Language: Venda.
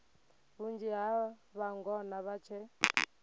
vhunzhi ha vhangona vha tshe